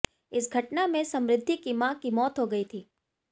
इस घटना में समृद्धि की मां की मौत हो गई थी